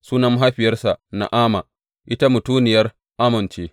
Sunan mahaifiyarsa Na’ama, ita mutuniyar Ammon ce.